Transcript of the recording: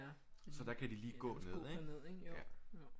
Så der kan de lige gå ned ikke ja